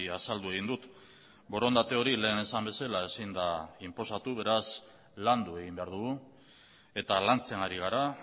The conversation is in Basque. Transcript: azaldu egin dut borondate hori lehen esan bezala ezin da inposatu beraz landu egin behar dugu eta lantzen ari gara